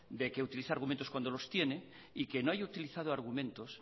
de que utiliza argumentos cuando los tiene y que no haya utilizado argumentos